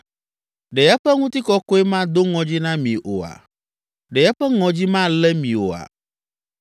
Ɖe eƒe ŋutikɔkɔe mado ŋɔdzi na mi oa? Ɖe eƒe ŋɔdzi malé mi oa?